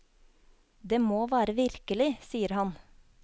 Det må være virkelig, sier han.